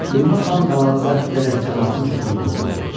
Ümmə xan qalanı zəbt edərək camaatın çoxunu öldürdü.